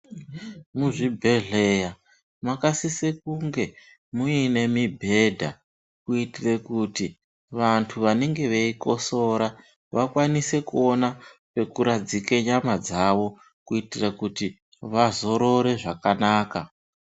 Muzvibhedhleya makasise kunge muine mibhedha kuitira kuti vantu vanenge veikosora vakwanise kuona pekuradzika nyama dzavo kuitira kuti vazorore zvakanaka.